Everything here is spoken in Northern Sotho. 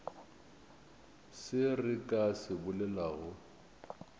se re ka se bolelago